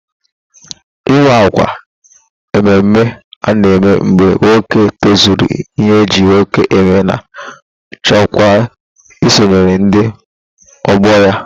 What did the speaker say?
Ị́wà ákwà mmemme a na-eme mgbe nwoke tozuru ịhe eji mmadụ eme ma chọkwa isonyere ndị ọgbọ ya.